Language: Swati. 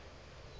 budze yindze